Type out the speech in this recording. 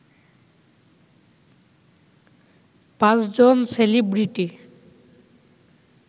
৫ জন সেলিব্রিটি